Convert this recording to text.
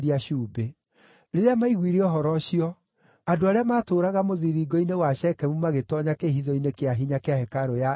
Rĩrĩa maiguire ũhoro ũcio, andũ arĩa maatũũraga mũthiringo-inĩ wa Shekemu magĩtoonya kĩĩhitho-inĩ kĩa hinya kĩa hekarũ ya Eli-Berithu.